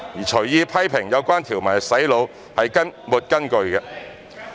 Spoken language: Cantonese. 隨意批評有關條文是"洗腦"，是沒有根據的。